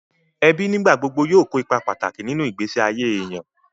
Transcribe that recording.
Ẹbí nígbà gbogbo yóò kó ipa pàtàkì nínú ìgbésí ayé èèyàn